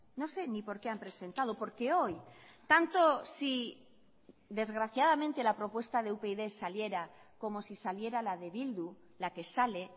no sé ni por qué han presentado porque hoy tanto si desgraciadamente la propuesta de upyd saliera como si saliera la de bildu la que sale